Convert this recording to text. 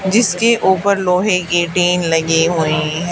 जिसके ऊपर लोहे की टीन लगी हुई हैं।